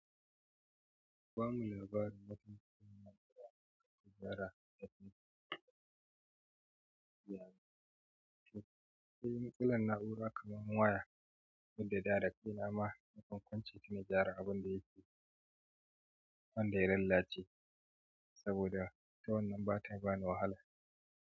Ku bamu labari matuƙa na gyara, gyara ɗabi'u, gyara kyauta. Sai matsalar na'ura kamar waya wanda da da kaina ma nakan kunce ta na gyara abunda wanda ya lalace saboda ita wannan bata bani wahay.